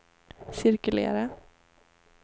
cirkulera